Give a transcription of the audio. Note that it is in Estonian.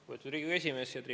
Lugupeetud Riigikogu esimees!